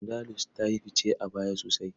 Andalus ta yi fice a baya sosai.